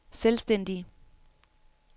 selvstændige